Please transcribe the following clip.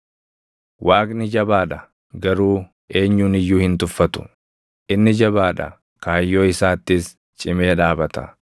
“Waaqni jabaa dha; garuu eenyun iyyuu hin tuffatu; inni jabaa dha; kaayyoo isaattis cimee dhaabata.